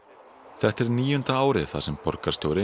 þetta er níunda árið þar sem borgarstjóri